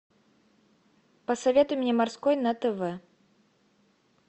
посоветуй мне морской на тв